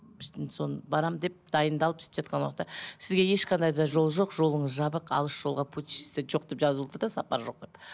барам деп дайындалып сөйтіп жатқан уақытта сізге ешқандай да жол жоқ жолыңыз жабық алыс жолға путешествиеге жоқ деп жазылу тұр да сапар жоқ деп